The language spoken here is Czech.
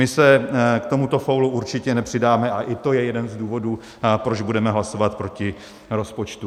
My se k tomuto faulu určitě nepřidáme a i to je jeden z důvodů, proč budeme hlasovat proti rozpočtu.